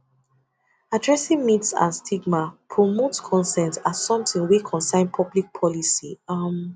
addressing myths and stigma promotes consent as something wey concern public policy um